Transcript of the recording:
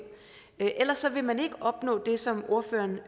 ellers vil man ikke opnå det som ordføreren